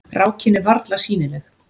Rákin er varla sýnileg.